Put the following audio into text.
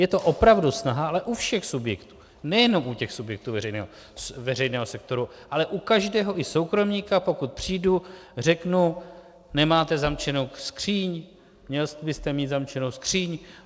Je to opravdu snaha, ale u všech subjektů, nejenom u těch subjektů veřejného sektoru, ale u každého i soukromníka, pokud přijdu, řeknu: Nemáte zavřenou skříň, měl byste mít zamčenou skříň.